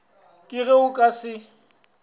ke ge o ka se